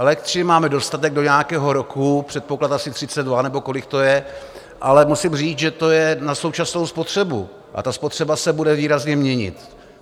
Elektřiny máme dostatek do nějakého roku, předpoklad asi 2032 nebo kolik to je, ale musím říct, že to je na současnou spotřebu a ta spotřeba se bude výrazně měnit.